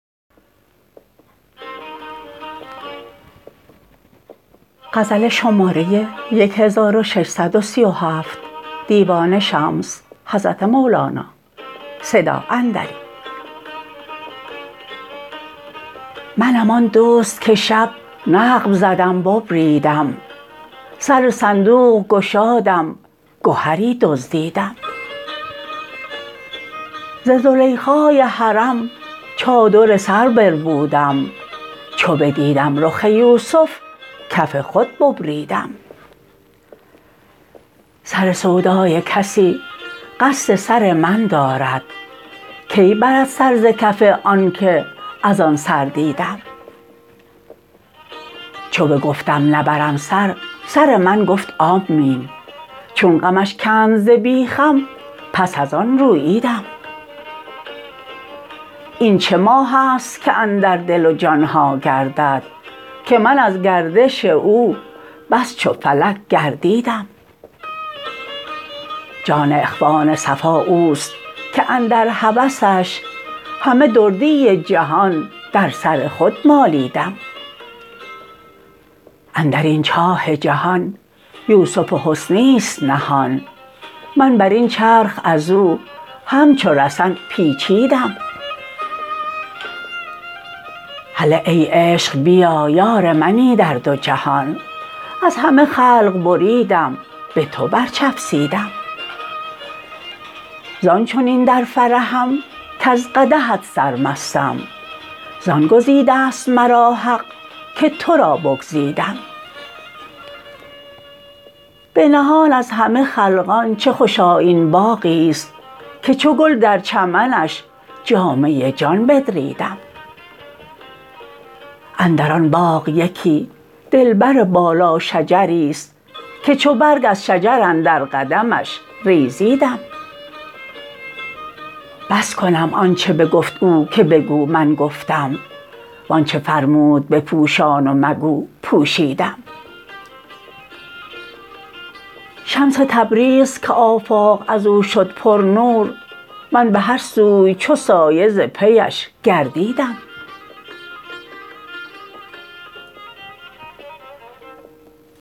منم آن دزد که شب نقب زدم ببریدم سر صندوق گشادم گهری دزدیدم ز زلیخای حرم چادر سر بربودم چو بدیدم رخ یوسف کف خود ببریدم سر سودای کسی قصد سر من دارد کی برد سر ز کف آنک از آن سر دیدم چو بگفتم نبرم سر سر من گفت آمین چون غمش کند ز بیخم پس از آن روییدم این چه ماه است که اندر دل و جان ها گردد که من از گردش او بس چو فلک گردیدم جان اخوان صفا اوست که اندر هوسش همه دردی جهان در سر خود مالیدم اندر این چاه جهان یوسف حسنی است نهان من بر این چرخ از او همچو رسن پیچیدم هله ای عشق بیا یار منی در دو جهان از همه خلق بریدم به تو برچفسیدم زان چنین در فرحم کز قدحت سرمستم زان گزیده ست مرا حق که تو را بگزیدم بنهان از همه خلقان چه خوش آیین باغی است که چو گل در چمنش جامه جان بدریدم اندر آن باغ یکی دلبر بالاشجری است که چو برگ از شجر اندر قدمش ریزیدم بس کنم آنچ بگفت او که بگو من گفتم و آنچ فرمود بپوشان و مگو پوشیدم شمس تبریز که آفاق از او شد پرنور من به هر سوی چو سایه ز پیش گردیدم